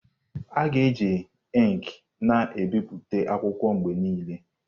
A ga-eji ink na ebipụta akwụkwọ mgbe niile.